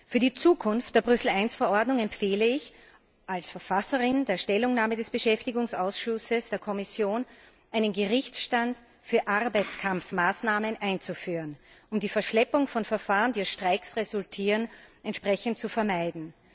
Für die Zukunft der Brüssel I Verordnung empfehle ich als Verfasserin der Stellungnahme des Ausschusses für Beschäftigung der Kommission, einen Gerichtsstand für Arbeitskampfmaßnahmen einzuführen, um die Verschleppung von Verfahren, die aus Streiks resultieren, zu vermeiden.